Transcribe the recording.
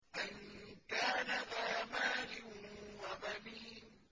أَن كَانَ ذَا مَالٍ وَبَنِينَ